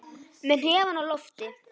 Með hnefann á lofti.